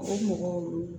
O mɔgɔw